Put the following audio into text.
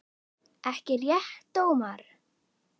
Ekki rétt Ómar?